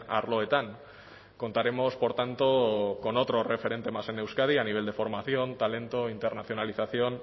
arloetan contaremos por tanto con otro referente más en euskadi a nivel de formación talento internacionalización